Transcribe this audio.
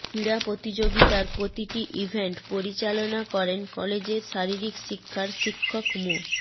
ক্রীড়া প্রতিযোগিতার প্রতিটি ইভেন্ট পরিচালনা করেন কলেজের শারীরিক শিক্ষার শিক্ষক মো